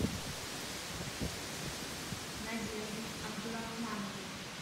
надеждой абдурахмановой